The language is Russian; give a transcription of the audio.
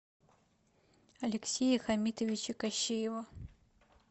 алексея хамитовича кощеева